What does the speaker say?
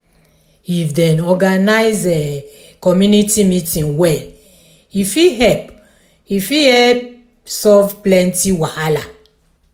if dem organize community meeting well e fit help e fit help solve plenty wahala.